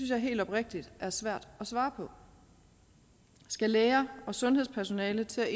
jeg helt oprigtigt er svært at svare på skal læger og sundhedspersonalet til